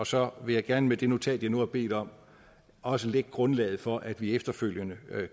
så vil jeg gerne med det notat jeg nu har bedt om også lægge grundlaget for at vi efterfølgende